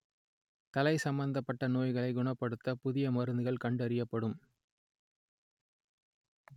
தலை சம்மந்தப்பட்ட நோய்களை குணப்படுத்த புதிய மருந்துகள் கண்டறியப்படும்